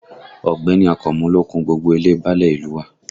Ọ̀gbẹ́ni Akànmú ló kun gbogbo ilé e báálẹ̀ ìlú u wa